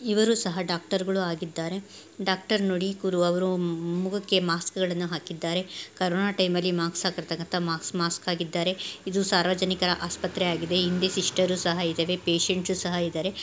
ಇವರು ಸಹ ಡಾಕ್ಟರ್ಗಳು ಆಗಿದ್ದಾರೆ ಡಾಕ್ಟರ್ ನೋಡಿ ಮುಖಕ್ಕೆ ಮಾಸ್ಕ್ಗಳನ್ನ ಹಾಕಿದ್ದಾರೆ. ಕೊರೊನ ಟೈಮ ಲ್ಲಿ ಮಾಸ್ಕ ಹಾಕಿರೋಹಂತ ಮಾಸ್ಕ ಹಾಕಿದ್ದಾರೆ. ಇದು ಸಾರ್ವಜನಿಕರ ಆಸ್ಪತ್ರೆ ಆಗಿದೆ ಇಲ್ಲಿ ಸಿಸ್ಟರ್ ಸಹ ಇದಾರೆ ಪೇಶಂಟ್ ಸಹ ಇದಾರೆ.